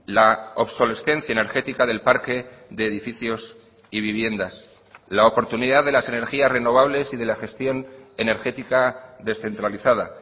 la obsolescencia energética del parque de edificios y viviendas la oportunidad de las energías renovables y de la gestión energética descentralizada